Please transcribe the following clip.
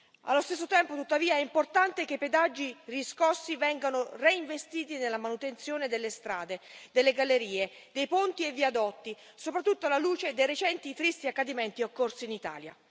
Allo stesso tempo, tuttavia, è importante che i pedaggi riscossi vengano reinvestiti nella manutenzione delle strade, delle gallerie, dei ponti e dei viadotti, soprattutto alla luce dei recenti tristi accadimenti occorsi in Italia.